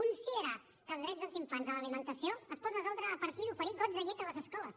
considerar que els drets dels infants a l’alimentació es pot resoldre a partir d’oferir gots de llet a les escoles